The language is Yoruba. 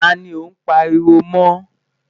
tá ní o n pariwo mọ?